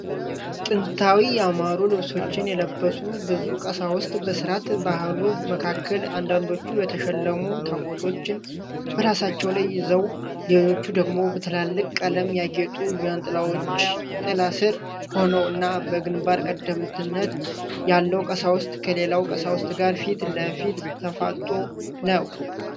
ጥንታዊና ያማሩ ልብሶችን የለበሱ ብዙ ቀሳውስት በሥርዓተ-ባህሉ መካከል፣ አንዳንዶቹ የተሸለሙ ታቦቶችን በራሳቸው ላይ ይዘው፣ ሌሎች ደግሞ በትላልቅ ቀለም ያጌጡ ዣንጥላዎች ጥላ ሥር ሆነው እና፣ በግንባር ቀደምትነት ያለው ቀሳዊስት ከሌላው ቀሳዊስት ጋር ፊት ለፊት ተፋጥጦ ነው።